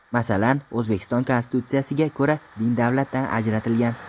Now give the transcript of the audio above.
Masalan, O‘zbekiston Konstitutsiyasiga ko‘ra din davlatdan ajratilgan.